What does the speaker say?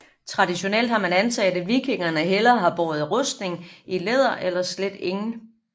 Traditionelt har man antaget at vikingerne hellere har båret rustning i læder eller slet ingen